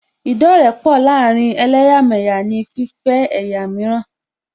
Ìdọ́rẹ̀ẹ́pọ láàárín ẹlẹ́yàmẹ̀yà ní níní fífẹ́ ẹ̀yà mìíràn